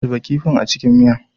Zuba kifin a cikin miya.